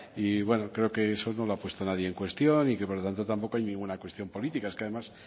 y eso creo que nadie lo ha puesto en cuestión y que por lo tanto tampoco hay una cuestión política es que además